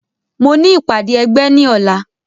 Mo ní ìpàdé ẹgbẹ́ ní ọ̀la